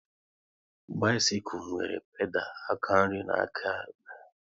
Bisikul nwere pedal aka nri na nke áká ekpe